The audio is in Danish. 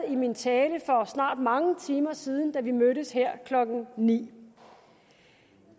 i min tale for snart mange timer siden da vi mødtes her klokken nul ni